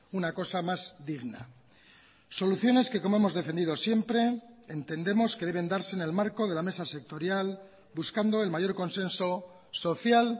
una cosa más digna soluciones que como hemos defendido siempre entendemos que deben darse en el marco de la mesa sectorial buscando el mayor consenso social